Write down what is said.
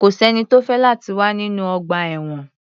Kò sẹ́ni tó fẹ́ láti wà nínú ọgbà-ẹ̀wọ̀n.